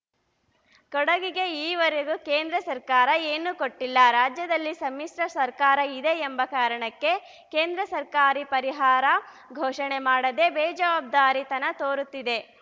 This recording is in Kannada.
ಕೊಡಗಿಗೆ ಈವರೆಗೂ ಕೇಂದ್ರ ಸರ್ಕಾರ ಏನೂ ಕೊಟ್ಟಿಲ್ಲ ರಾಜ್ಯದಲ್ಲಿ ಸಮ್ಮಿಶ್ರ ಸರ್ಕಾರ ಇದೆ ಎಂಬ ಕಾರಣಕ್ಕೆ ಕೇಂದ್ರ ಸರ್ಕಾರಿ ಪರಿಹಾರ ಘೋಷಣೆ ಮಾಡದೆ ಬೇಜವಾಬ್ದಾರಿ ತನ ತೋರುತ್ತಿದೆ